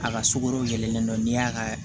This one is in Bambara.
A ka sukaro yɛlɛnnen do n'i y'a ka